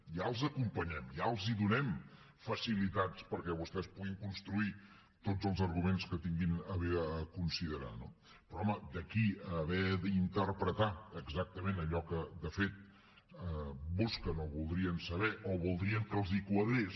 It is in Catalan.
ja els acompanyem ja els donem facilitats perquè vostès puguin construir tots els arguments que tinguin a bé considerar no però home d’aquí a haver d’interpretar exactament allò que de fet busquen o voldrien saber o voldrien que els quadrés